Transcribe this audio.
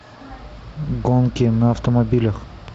гонки на автомобилях